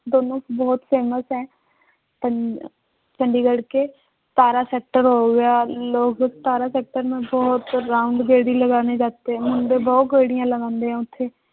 ਦੋਨੋਂ ਬਹੁਤ famous ਹੈ ਚੰਡੀਗੜ੍ਹ ਕੇ ਸਤਾਰਾਂ sector ਹੋ ਗਿਆ ਲੋਗ ਸਤਾਰਾਂ ਬਹੁਤ ਤੇ ਮੁੰਡੇ ਬਹੁਤ ਗੇੜੀਆਂ ਲਗਾਉਂਦੇ ਆ ਉੱਥੇ